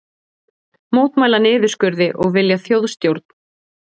Mótmæla niðurskurði og vilja þjóðstjórn